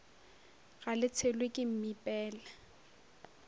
ga le tshelwe ke mmipela